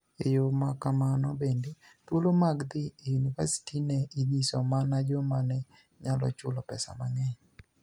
E yo ma kamano benide, thuolo mag dhi e yuniivasiti ni e iniyiso mania joma ni e niyalo chulo pesa manig'eniy.